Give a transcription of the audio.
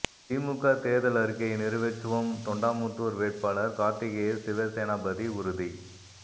திமுக தேர்தல் அறிக்கையை நிறைவேற்றுவோம் தொண்டாமுத்தூர் வேட்பாளர் கார்த்திகேய சிவசேனாபதி உறுதி